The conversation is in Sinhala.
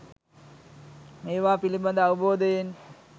මේවා පිළිබඳව අවබෝධයෙන්